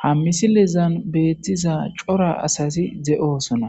ha misilezan beettiza cora asati de'osona